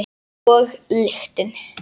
Og lyktin.